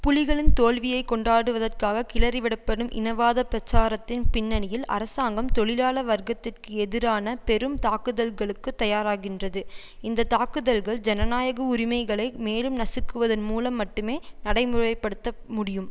புலிகளின் தோல்வியைக் கொண்டாடுவதற்காக கிளறிவிடப்படும் இனவாத பிரச்சாரத்தின் பின்னணியில் அரசாங்கம் தொழிலாள வர்க்கத்துக்கு எதிரான பெரும் தாக்குதல்களுக்கு தயாராகின்றது இந்த தாக்குதல்கள் ஜனநாயக உரிமைகளை மேலும் நசுக்குவதன் மூலம் மட்டுமே நடைமுறை படுத்த முடியும்